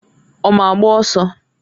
Ọ ma agba ọsọ.